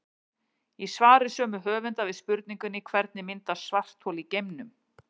Í svari sömu höfunda við spurningunni Hvernig myndast svarthol í geimnum?